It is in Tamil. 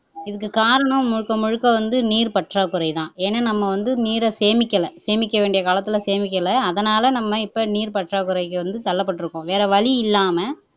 இதுக்கு காரணம் முழுக்க முழுக்க வந்து நீர் பற்றாக்குறை தான் ஏன்னா நம்ம வந்து நீரை சேமிக்கல சேமிக்க வேண்டிய காலத்துல சேமிக்கல அதனால நம்ம இப்ப நீர் பற்றாக்குறைக்கு வந்து தள்ளப்பட்டிருக்கோம் வேற வழி இல்லாம